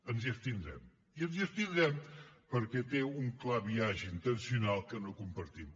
ens hi abstindrem i ens hi abstindrem perquè té un clar biaix intencional que no compartim